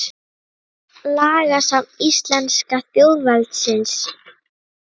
Lagasafn íslenska þjóðveldisins.